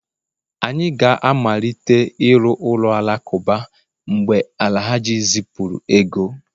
anyị ga-amalite ịrụ ụlọ alakụba, mgbe Alhaji zipụrụ ego